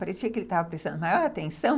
Parecia que ele estava prestando maior atenção.